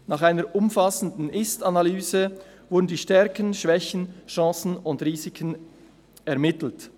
Nach einer umfassenden Ist-Analyse wurden die Stärken, Schwächen, Chancen und Risiken ermittelt.